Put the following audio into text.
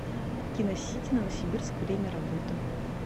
киносити новосибирск время работы